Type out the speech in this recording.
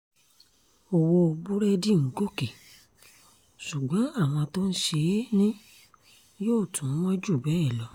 owó búrẹ́dì ń gòkè ṣùgbọ́n àwọn tó ń ṣe é ni yóò tún wọ́n jù bẹ́ẹ̀ lọ